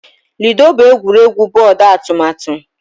Ludo bụ egwuregwu bọọdụ atụmatụ